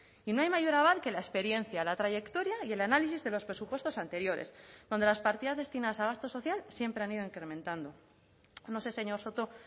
y no hay mayor aval que la experiencia la trayectoria y el análisis de los presupuestos anteriores donde las partidas destinadas a gasto social siempre han ido incrementando no sé señor soto